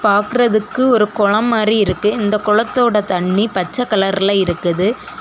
பாக்குறதுக்கு ஒரு குளம் மாதிரி இருக்கு இந்த குளத்தோட தண்ணி பச்சை கலர்ல இருக்குது.